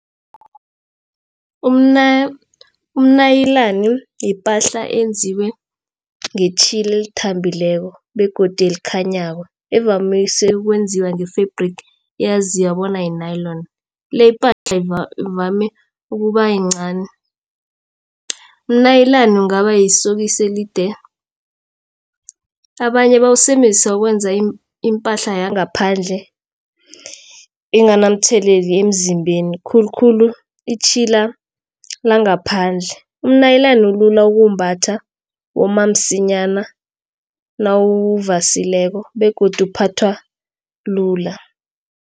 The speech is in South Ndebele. Umnayilani yipahla eyenziwe ngetjhila elithambileko begodu elikhanyako evamise ukwenziwa nge-fabric eyaziwa bona yi-nylon le pahla ivame ukuba yincani. Umnayilani kungaba yisokisi elide. Abanye bawusebenzisa ukwenza iimpahla yangaphandle enganamtheleli emzimbeni khulukhulu itjhila langaphandle. Umnayilani ulula ukuwumbatha woma msinyana nawuvasileko begodu uphathwa lula.